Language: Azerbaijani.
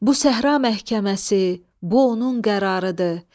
Bu səhra məhkəməsi, bu onun qərarıdır.